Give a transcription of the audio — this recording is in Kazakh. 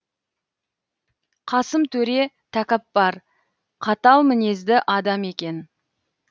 қасым төре тәкаппар қатал мінезді адам екен